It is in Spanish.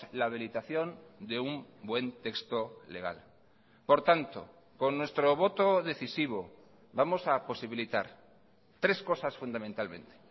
la habilitación de un buen texto legal por tanto con nuestro voto decisivo vamos a posibilitar tres cosas fundamentalmente